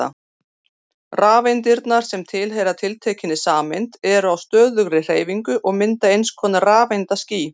Rafeindirnar sem tilheyra tiltekinni sameind eru á stöðugri hreyfingu og mynda einskonar rafeindaský.